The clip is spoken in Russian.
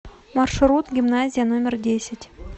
маршрут гимназия номер десять